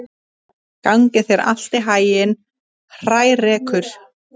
Gangi þér allt í haginn, Hrærekur.